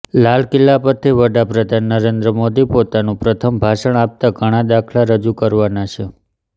લાલ કિલ્લા પરથી વડાપ્રધાન નરેન્દ્ર મોદી પોતાનું પ્રથમ ભાષણ આપતાં ઘણા દાખલા રજૂ કરવાના છે